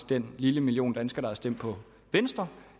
den lille million danskere der har stemt på venstre